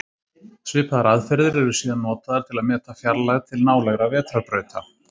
Svipaðar aðferðir eru síðan notaðar til að meta fjarlægð til nálægra vetrarbrauta.